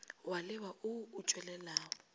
wa leba wo o tšwelelago